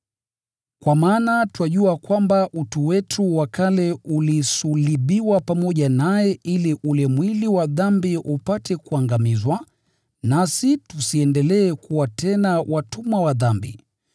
Kwa maana twajua kwamba utu wetu wa kale ulisulubiwa pamoja naye ili ule mwili wa dhambi upate kuangamizwa, nasi tusiendelee kuwa tena watumwa wa dhambi.